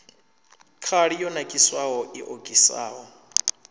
khali yo nakiswaho i okisaho